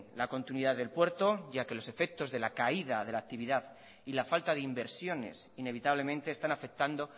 la continuidad del puerto ya que los efectos de la caída de la actividad y la falta de inversiones inevitablemente están afectando